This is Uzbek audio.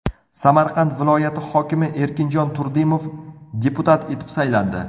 Samarqand viloyati hokimi Erkinjon Turdimov deputat etib saylandi.